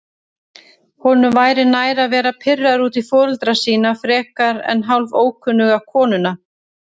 Honum væri nær að vera pirraður út í foreldra sína frekar en hálfókunnuga konuna.